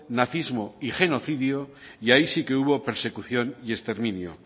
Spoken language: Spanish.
nacismo y genocidio y ahí sí que hubo persecución y exterminio